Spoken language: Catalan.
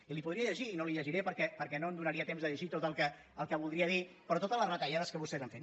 i li podria llegir i no li ho llegiré perquè no em donaria temps de llegir tot el que voldria dir però totes les retallades que vostès han fet